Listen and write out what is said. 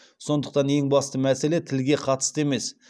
сондықтан ең басты мәселе тілге қатысты емес